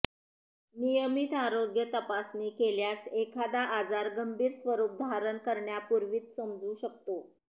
नियमित आरोग्य तपासणी केल्यास एखादा आजार गंभीर स्वरूप धारण करण्यापूर्वीच समजू शकतो